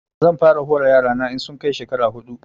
Zan fara hore yara na in sun kai shekara huɗu